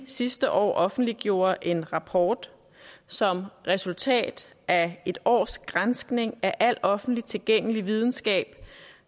sidste år offentliggjorde en rapport som resultat af et års granskning af al offentligt tilgængelig videnskab